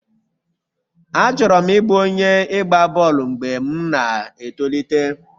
Achọrọ m ịbụ onye ịgba bọọlụ mgbe m na-etolite.